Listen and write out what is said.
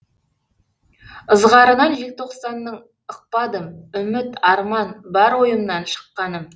ызғарынан желтоқсанның ықпадым үміт арман бар ойымнан шыққаным